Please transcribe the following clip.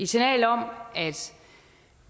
signal om at